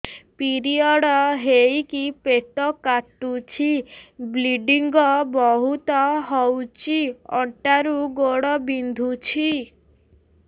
period ହୋଇକି ପେଟ କାଟୁଛି ବ୍ଲିଡ଼ିଙ୍ଗ ବହୁତ ହଉଚି ଅଣ୍ଟା ରୁ ଗୋଡ ବିନ୍ଧୁଛି